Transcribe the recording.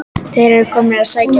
Þeir eru komnir að sækja mig.